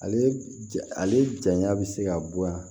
Ale ja ale jaɲa bɛ se ka bɔ yan